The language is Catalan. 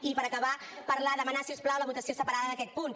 i per acabar demanar si us plau la votació separada d’aquest punt